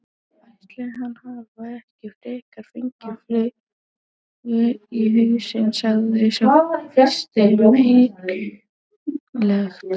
Ætli hann hafi ekki frekar fengið flugu í hausinn sagði sá fyrsti meinhægt.